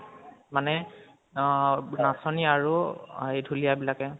মানে নাচনি আৰু এই ঢোলীয়া বিলাকে